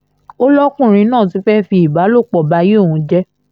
ó lọ́kùnrin náà ti fẹ́ẹ́ fi ìbálòpọ̀ báyé òun jẹ́